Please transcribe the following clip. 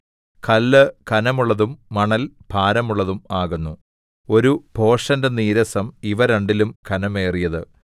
കല്ല് ഘനമുള്ളതും മണൽ ഭാരമുള്ളതും ആകുന്നു ഒരു ഭോഷന്റെ നീരസം ഇവ രണ്ടിലും ഘനമേറിയത്